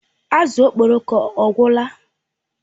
Azụ Okporoko ọ gwụla?